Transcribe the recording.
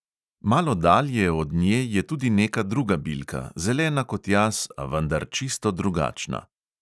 Malo dalje od nje je tudi neka druga bilka, zelena kot jaz, a vendar čisto drugačna.